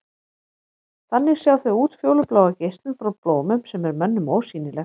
Þannig sjá þau útfjólubláa geislun frá blómum sem er mönnum ósýnileg.